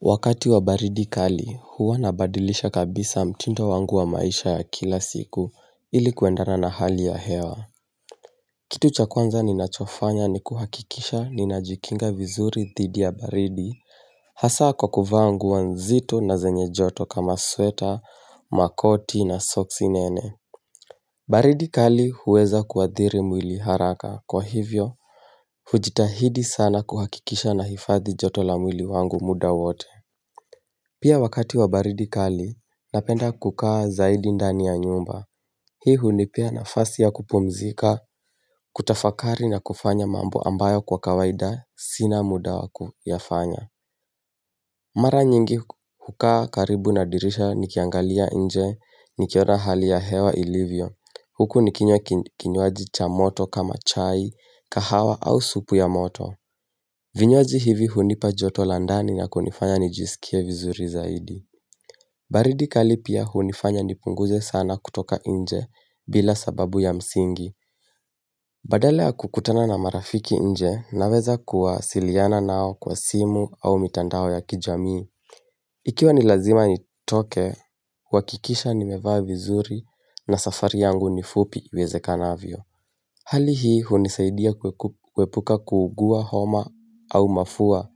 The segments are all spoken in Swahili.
Wakati wa baridi kali, huwa nabadilisha kabisa mtindo wangu wa maisha ya kila siku ili kuendana na hali ya hewa. Kitu cha kwanza ni nachofanya ni kuhakikisha ninajikinga vizuri dhidi ya baridi. Hasa kwa kuvaa nguo nzito na zenye joto kama sweta, makoti na soksi nene. Baridi kali huweza kuathiri mwili haraka. Kwa hivyo, hujitahidi sana kuhakikisha nahifadhi joto la mwili wangu muda wote. Pia wakati wa baridi kali, napenda kukaa zaidi ndani ya nyumba. Hii umipea nafasi ya kupumzika, kutafakari na kufanya mambo ambayo kwa kawaida, sina muda wakuyafanya. Mara nyingi hukaa karibu na dirisha nikiangalia nje, nikiona hali ya hewa ilivyo. Huku nikinywa kinywaji cha moto kama chai, kahawa au supu ya moto. Vinywaji hivi hunipa joto la ndani na kunifanya nijisikie vizuri zaidi. Baridi kali pia hunifanya nipunguze sana kutoka nje bila sababu ya msingi. Badala ya kukutana na marafiki nje naweza kuwasiliana nao kwa simu au mitandao ya kijamii. Ikiwa nilazima nitoke, uhakikisha nimevaa vizuri na safari yangu nifupi iwezekanavyo. Hali hii hunisaidia kuhepuka kuugua homa au mafua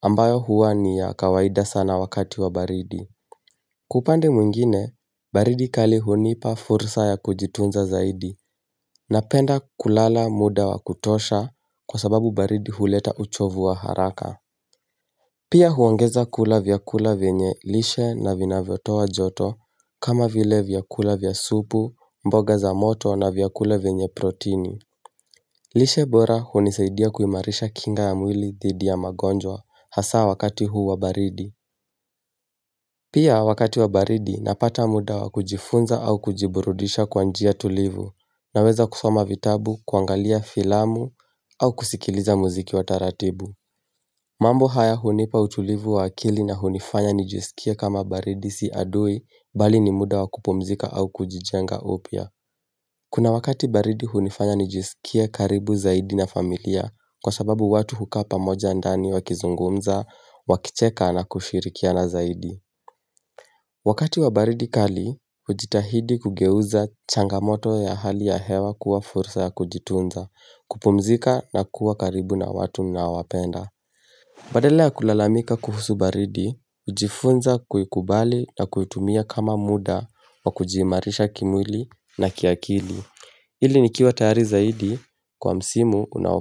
ambayo huwa ni ya kawaida sana wakati wa baridi. Wa upande mwingine, baridi kali hunipa fursa ya kujitunza zaidi napenda kulala muda wa kutosha kwa sababu baridi huleta uchovu wa haraka. Pia huongeza kula vyakula vyenye lishe na vinavyo toa joto kama vile vyakula vya supu, mboga za moto na vyakula venye protini. Lishe bora hunisaidia kuimarisha kinga ya mwili dhidi ya magonjwa hasa wakati huu wa baridi. Pia wakati wa baridi napata muda wakujifunza au kujiburudisha kwa njia tulivu naweza kusoma vitabu, kuangalia filamu au kusikiliza muziki wa taratibu. Mambo haya hunipa utulivu wa akili na hunifanya nijisikia kama baridi si adui bali ni muda wa kupumzika au kujijenga upya. Kuna wakati baridi hunifanya nijisikie karibu zaidi na familia kwa sababu watu hukaa pamoja ndani wakizungumza, wakicheka na kushirikiana zaidi. Wakati wa baridi kali, ujitahidi kugeuza changamoto ya hali ya hewa kuwa fursa ya kujitunza, kupumzika na kuwa karibu na watu ninaowapenda. Badala ya kulalamika kuhusu baridi, ujifunza kuikubali na kuitumia kama muda wa kujiimarisha kimwili na kiakili. Ili nikiwa tayari zaidi kwa msimu unao.